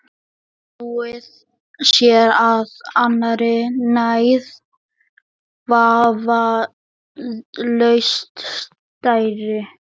Snúið sér að annarri neyð, vafalaust stærri.